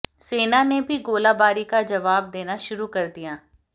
सेना ने भी गोलाबारी का जवाब देना शुरू कर दिया